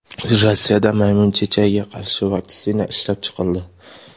Rossiyada maymun chechagiga qarshi vaksina ishlab chiqildi.